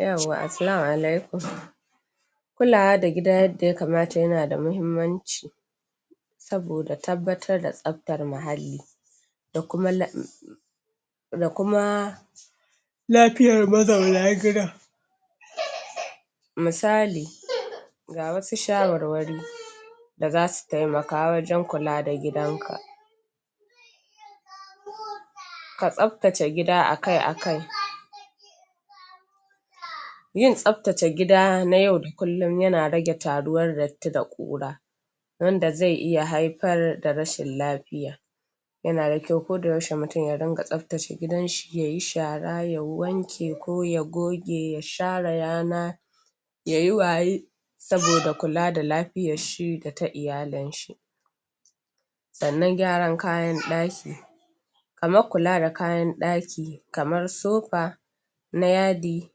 'Yawwa, Assalama alaikum Kulawa da gida yadda ya kamata yana da muhimmanci saboda tabbatar da tsabtar muhalli, da kuma da kuma lafiayar mazauna gidan. Misali ga wasu shawarwari, da za su taimaka wajen kula da gidanka. Ka tsabtace gida akai-akai, Yin tsabtace gida na yau da kululum yana rage taruwar datti da ƙura wanda zai iya haifar da rashin lafiya, yana da kyau ko da yaushe mutum ya riƙa tsabtace gidanshi yayi shara, ya wanke, ko ya goge, ya share yana, yayi waye saboda kula da lafiyar shi da ta iyalin shi. Sannan gyaran kayan ɗaki. Kamar kula da kaynan ɗaki, kamar sofa, na yadi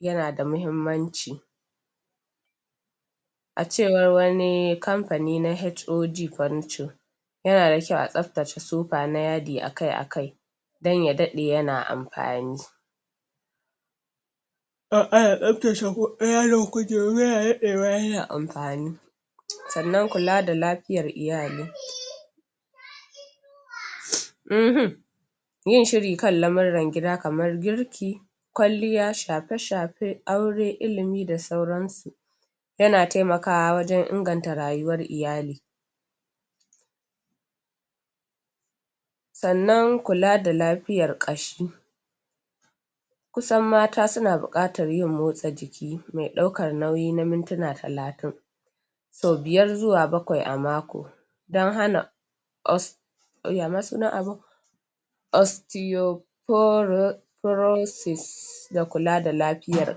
yana da muhimmanci. A cewar wani kamfani na HOD Furniture yana da kyau a tsabtace sofa na yadi akai-akai don ya daɗe yana amfani. In ana tsabtace yadin kujeru yana daɗewa yana amfani Sannan kula da Lafiyar Iyali. uhumm Yin shiri kan lamiran gida kamar girki, kwaliya, shafe-shafe, aure, ilimi d sauransu, yana taimakwa wajen inganta rayuwar iyali. Sannan Kula da Lafiyar Ƙashi. Ku sn mata suna buƙatar yin motsa jiki mai ɗaukar nauyi na mintuna talatin. so biyar zuwa bakwai a mako don hana yama sunan abin? Oisteo proisis da kula da lafiyar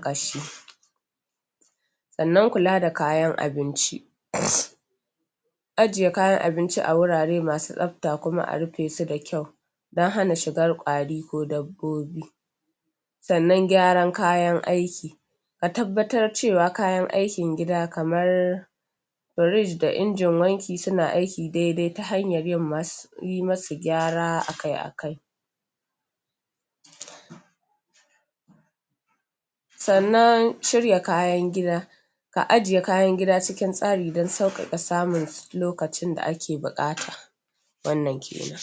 ƙashi. Sannan kula da kayan abinci, Ajiye kayan abinci a wurare masu tsabta kuma a rufe su da kyau, don hana shigar ƙwari ko dabbobi. Sannan Gyaran Kayan Aiki. Ka tabbatar cewa kayan aikin gida kamar, Fridge da injin wanki suna aiki dai-dai ta hanyar yin musu gyara akai-akai. Sannan shirya kayan Gida. Ka ajiye kayn gida cikin tsari don sauƙaƙa samu lokacin da ake buƙata. Wannan kenan.